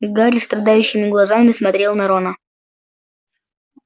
гарри страдающими глазами смотрел на рона